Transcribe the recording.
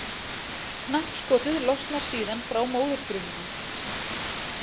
Knappskotið losnar síðan frá móðurfrumunni.